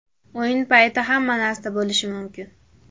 O‘yin payti hamma narsa bo‘lishi mumkin.